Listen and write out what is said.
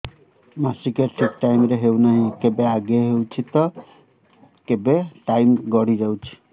ମାସିକିଆ ଠିକ ଟାଇମ ରେ ହେଉନାହଁ କେବେ ଆଗେ ହେଇଯାଉଛି ତ କେବେ ଟାଇମ ଗଡି ଯାଉଛି